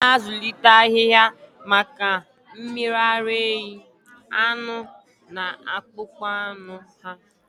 A na-azụlite ahịhịa maka mmiri ara ehi, anụ, na akpụkpọ anụ ha.